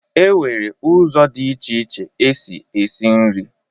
E nwere ụzọ dị iche iche esi eshi nri